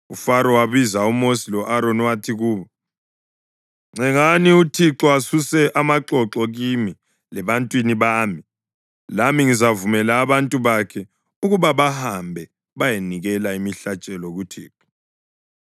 UFaro wabiza uMosi lo-Aroni wathi kubo, “Ncengani uThixo asuse amaxoxo kimi lebantwini bami, lami ngizavumela abantu bakhe ukuba bahambe bayenikela imihlatshelo kuThixo.”